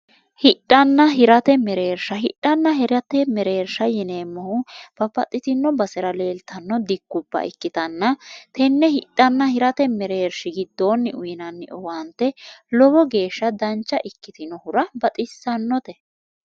hidhanna hirate mereersha hidhanna hirate mereersha yineemmohu babbaxxitino basera leeltanno dikkubba ikkitanna tenne hidhanna hirate mereershi giddoonni uyinanni owaante lowo geeshsha dancha ikkitinohura baxxissannote